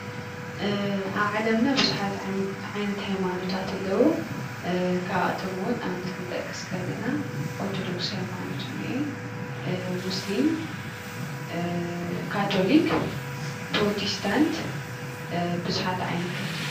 ኣብ ዓለምና ብዙሓት ዓይነታት ሃይማኖታት ኣለው፡፡ ካብኣቶም እውን ኣብነት ክንጠቅስ ከለና ኦርተዶክስ ሃይማኖት እኒአ፣ ሙስሊም፣ ካቶሊክ፣ ፕሮቴስታንት ብዙሓት ዓይነታት እዮም፡፡